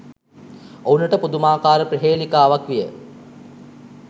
ඔවුනට පුදුමාකාර ප්‍රහේලිකාවක් විය